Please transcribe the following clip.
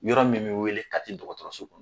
Yɔrɔ min me wele Kati dɔkɔtɔrɔso kɔnɔ